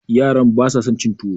yaran ba sa son cin tuwo